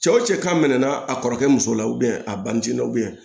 Cɛw cɛ kan minɛ a kɔrɔkɛ muso la a bancɛna